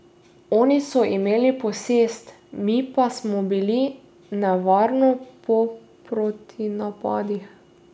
Oni so imeli posest, mi pa smo bili nevarno po protinapadih.